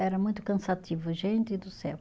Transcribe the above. Era muito cansativo, gente do céu.